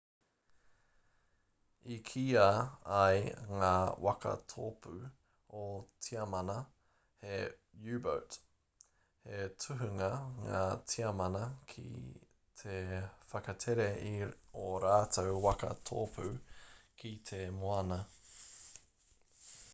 i kīa ai ngā waka tōpū o tiamana he u-boat he tohunga ngā tiamana ki te whakatere i ō rātou waka tōpū ki te moana